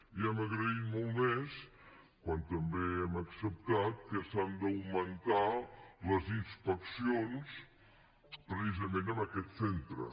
i hem agraït molt més quan també hem acceptat que s’han d’augmentar les inspeccions precisament en aquests centres